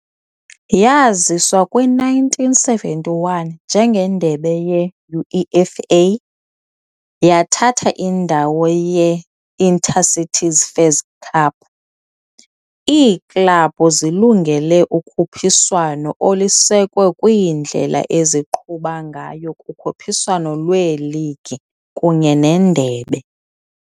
Yaziswa kwi-1971 njengeNdebe ye-UEFA, yathatha indawo ye- Inter-Cities Fairs Cup .] Iiklabhu zilungele ukhuphiswano olusekwe kwindlela eziqhuba ngayo kukhuphiswano lweligi kunye nendebe.